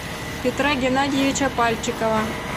петра геннадьевича пальчикова